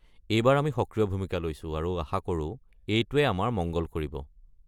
এইবাৰ আমি সক্ৰিয় ভূমিকা লৈছো আৰু আশা কৰো এইটোৱে আমাৰ মঙ্গল কৰিব।